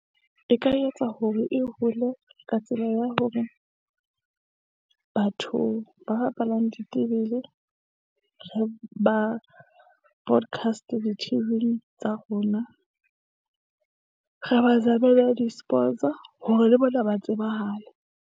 E ka etsa hore e hole ka tsela ya hore batho ba bapalang ditebele re ba broadcast di-T_V tsa rona, re ba zamele di- sports, hore le bona ba tsebahale.